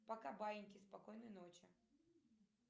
пока баиньки спокойной ночи